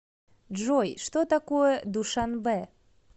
джой что такое душанбе